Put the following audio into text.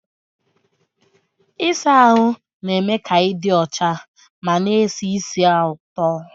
Ịsa ahụ na-eme ka ị dị ọcha ma na esi ísì ụtọ.